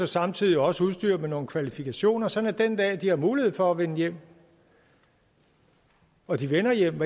samtidig også udstyre dem med nogle kvalifikationer sådan at de den dag de har mulighed for at vende hjem og de vender hjem